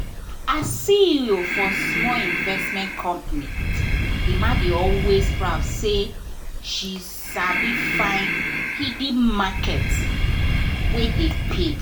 as ceo for small investment company emma dey always proud say she sabi find hidden market wey dey pay.